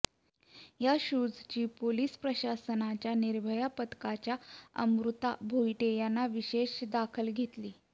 या शूजची पोलीस प्रशासनाच्या निर्भया पथकाच्या अमृता भोईटे यांनी विशेष दखल घेतली